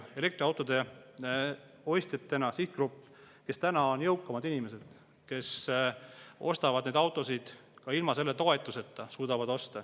Elektriautode ostjate puhul on ju selgelt tegemist sihtgrupiga, kus on jõukamad inimesed, kes suudavad osta ja ostavad neid autosid ka ilma selle toetuseta.